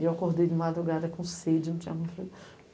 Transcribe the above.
E eu acordei de madrugada com sede, não tinha